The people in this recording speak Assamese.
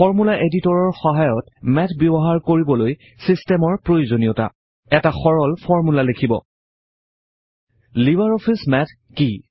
ফৰ্মূলা এডিটৰৰ সহায়ত মেথ ব্যৱহাৰ কৰিবলৈ ছিষ্টেমৰ প্ৰয়োজনীয়তা এটা সাধাৰণ ফৰ্মূলা লিখিব লিবাৰ অফিচ মেথ কি